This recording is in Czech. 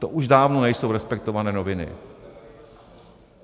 To už dávno nejsou respektované noviny.